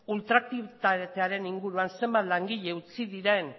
ultra aktibitatearen inguruan zenbat langile utzi diren